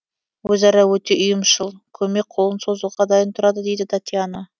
өзара өте ұйымшыл көмек қолын созуға дайын тұрады дейді татьяна